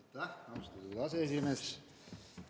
Aitäh, austatud aseesimees!